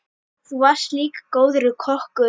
Þú varst líka góður kokkur.